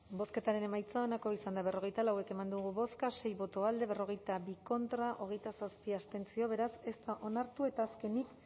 bozketaren emaitza onako izan da berrogeita lau eman dugu bozka sei boto alde berrogeita bi contra hogeita zazpi abstentzio beraz ez da onartu eta azkenik